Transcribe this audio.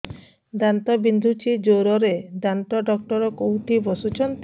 ଦାନ୍ତ ବିନ୍ଧୁଛି ଜୋରରେ ଦାନ୍ତ ଡକ୍ଟର କୋଉଠି ବସୁଛନ୍ତି